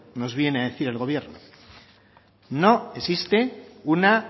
no viene a decir el gobierno no existe una